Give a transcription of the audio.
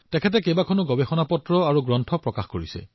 তেওঁ কেইবাখনো গৱেষণা পত্ৰ আৰু কিতাপ প্ৰকাশ কৰিছে